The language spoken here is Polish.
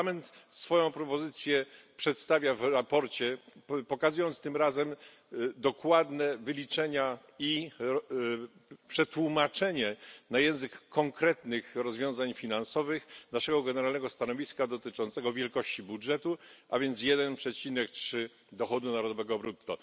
Parlament swoją propozycję przedstawia w sprawozdaniu, pokazując tym razem dokładne wyliczenia i przetłumaczenie na język konkretnych rozwiązań finansowych naszego generalnego stanowiska dotyczącego wielkości budżetu, a więc 1,3 dochodu narodowego brutto.